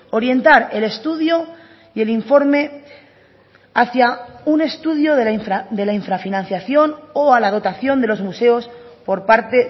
orientar el estudio y el informe hacia un estudio de la infrafinanciación o a la dotación de los museos por parte